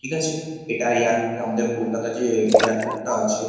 ঠিক আছে এটা এয়ারপোর্ট আমাদের কলকাতা র যে এয়ারপোর্ট টা আছে ।